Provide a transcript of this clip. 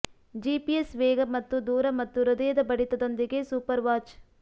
GPS ವೇಗ ಮತ್ತು ದೂರ ಮತ್ತು ಹೃದಯದ ಬಡಿತದೊಂದಿಗೆ ಸೂಪರ್ ವಾಚ್